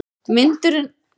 Vindurinn rykkir í bílinn.